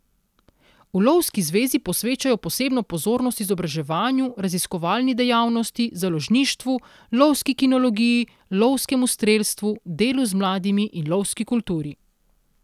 V lovski zvezi posvečajo posebno pozornost izobraževanju, raziskovalni dejavnosti, založništvu, lovski kinologiji, lovskemu strelstvu, delu z mladimi in lovski kulturi.